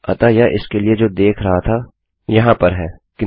अतः यह इसके लिए जो देख रहा था वहाँ पर है